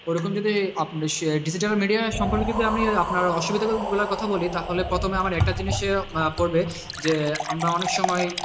ওরকম যদি digital media র সম্পর্কে যদি আমি আপনার অসুবিধার কথা বলি তাহলে প্রথমে আমার একটা জিনিসে পড়বে যে আমরা অনেক সময়,